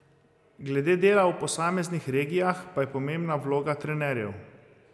Glede dela v posameznih regijah pa je pomembna vloga trenerjev.